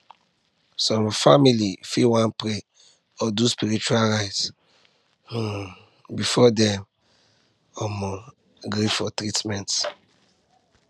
some families fit wan pray or do spiritual rite um before dem um gree for treatment